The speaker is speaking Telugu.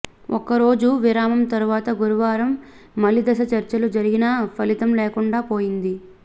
ఒక్కరోజు విరామం తరువాత గురువారం మలి దశ చర్చలు జరిగినా ఫలితం లేకుండా పోయింది